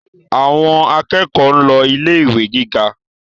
Àwọn akẹ́kọ̀ọ́ ń lọ ilé ìwé gíga